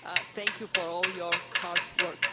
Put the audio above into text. Thank you for all your hard work.